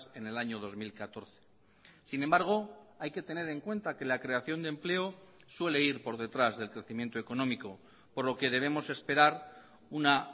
en el año dos mil catorce sin embargo hay que tener en cuenta que la creación de empleo suele ir por detrás del crecimiento económico por lo que debemos esperar una